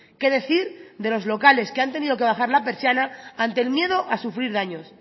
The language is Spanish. qué decir de los locales que han tenido que bajar la persiana ante el miedo a sufrir daños